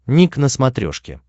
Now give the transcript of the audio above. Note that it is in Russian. ник на смотрешке